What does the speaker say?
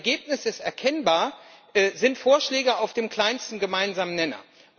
Das Ergebnis ist erkennbar Es sind Vorschläge auf dem kleinsten gemeinsamen Nenner.